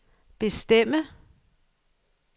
bestemme